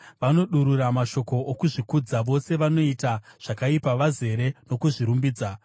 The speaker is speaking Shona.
Vanodurura mashoko okuzvikudza; vose vanoita zvakaipa vazere nokuzvirumbidza.